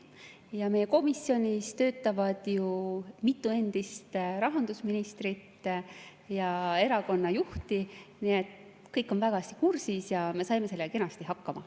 Ja meie komisjonis töötab ju mitu endist rahandusministrit ja erakonnajuhti, nii et kõik on väga hästi kursis ja me saime sellega kenasti hakkama.